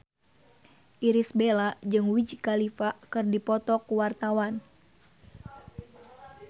Irish Bella jeung Wiz Khalifa keur dipoto ku wartawan